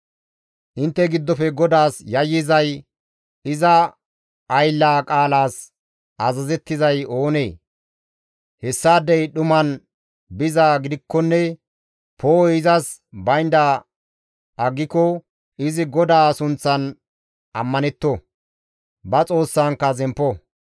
Intte giddofe GODAAS yayyizay, iza ayllaa qaalas azazettizay oonee? Hessaadey dhuman bizaa gidikkonne poo7oy izas baynda aggiko izi GODAA sunththan ammanetto; ba Xoossankka zemppo.